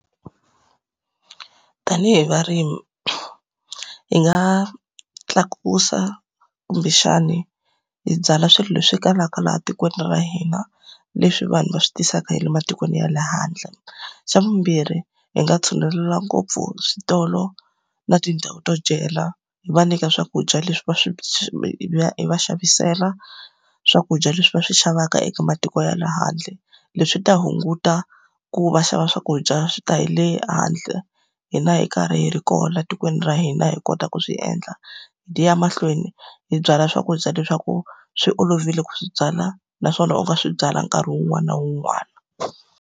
Tanihi varimi, hi nga tlakusa kumbexani hi byala swilo leswi kalaka laha tikweni ra hina, leswi vanhu va swi tisaka hi le matikweni ya le handle. Xa vumbirhi, hi nga tshunelela ngopfu switolo na tindhawu to dyela, hi va nyika swakudya leswi va swi va hi va xavisela swakudya leswi va swi xavaka eka matiko ya le handle. Leswi ta hunguta ku va xava swakudya swi ta hi le handle, hina hi karhi hi ri kona etikweni ra hina hi kota ku swi endla. Hi ya mahlweni hi byala swakudya le swa ku swi olovile ku swi byala naswona u nga swi byala nkarhi wun'wani na wun'wani.